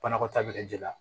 Banakɔta bɛ kɛ ji la